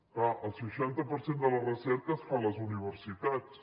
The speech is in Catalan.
clar el seixanta per cent de la recerca es fa a les universitats